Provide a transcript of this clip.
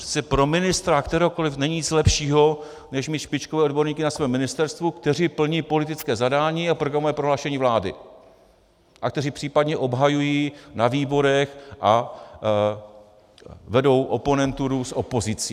Přece pro ministra kteréhokoli není nic lepšího než mít špičkové odborníky na svém ministerstvu, kteří plní politické zadání a programové prohlášení vlády a kteří případně obhajují na výborech a vedou oponenturu s opozicí.